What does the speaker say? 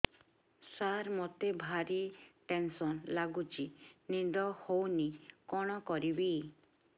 ସାର ମତେ ଭାରି ଟେନ୍ସନ୍ ଲାଗୁଚି ନିଦ ହଉନି କଣ କରିବି